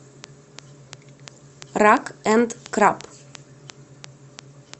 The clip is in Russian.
рак энд краб